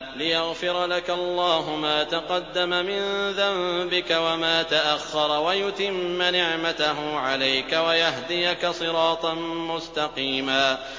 لِّيَغْفِرَ لَكَ اللَّهُ مَا تَقَدَّمَ مِن ذَنبِكَ وَمَا تَأَخَّرَ وَيُتِمَّ نِعْمَتَهُ عَلَيْكَ وَيَهْدِيَكَ صِرَاطًا مُّسْتَقِيمًا